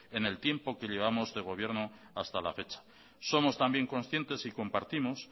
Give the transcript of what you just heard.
en el tiempo que llevamos de gobierno hasta la fecha somos también conscientes y compartimos